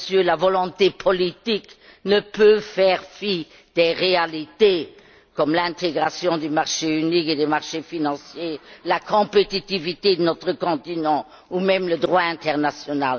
La volonté politique ne peut faire fi des réalités, comme l'intégration du marché unique et des marchés financiers, la compétitivité de notre continent ou même le droit international.